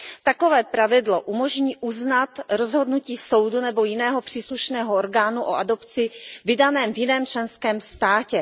Takové pravidlo umožní uznat rozhodnutí soudu nebo jiného příslušného orgánu o adopci vydané v jiném členském státě.